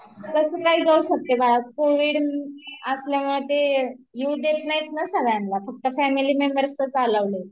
कसं काय जाऊ शकते बाळा कोविड असल्यामुळे ते येऊ देत नाहीत ना सगळ्यांना फक्त फॅमिली मेंबर्सच अलाऊड आहेत